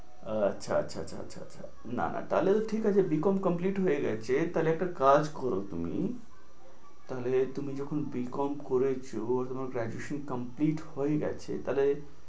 আচ্ছা আচ্ছা আচ্ছা আচ্ছা, না তাহলে তো ঠিক আছে BCom complete হয়ে গেছে, তাহলে একটা কাজ করো তুমি। তাহলে তুমি যখন BCom করেছো তোমার graduation complete হয়ে গেছে।